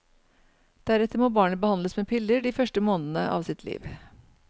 Deretter må barnet behandles med piller de første månedene av sitt liv.